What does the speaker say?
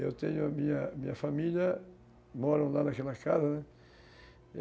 Eu tenho a minha minha família, moram lá naquela casa, né?